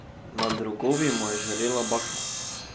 Nad rogovi mu je žarela bakla.